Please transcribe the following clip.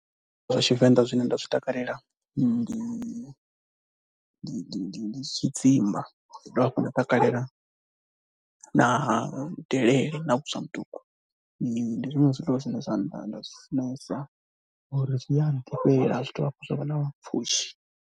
Zwa Tshivenḓa zwine nda zwi takalela ndi ndi tshidzimba, ndi dovha hafhu nda takalela na delele na vhuswa ha muṱuku. Ndi zwiṅwe zwiḽiwa zwine zwa nda zwi funesa ngori zwi a nḓifhela zwa dovha hafhu zwa vha na pfhushi.